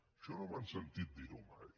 això no m’han sentit dirho mai